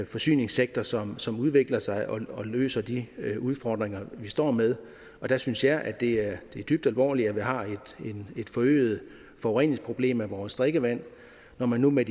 forsyningssektor som som udvikler sig og løser de udfordringer vi står med der synes jeg at det er dybt alvorligt at vi har et forøget forureningsproblem af vores drikkevand når man nu med